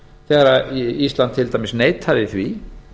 þegar ísland til dæmis neitaði því